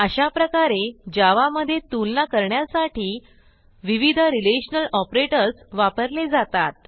अशाप्रकारे जावा मधे तुलना करण्यासाठी विविधrelational ऑपरेटर्स वापरले जातात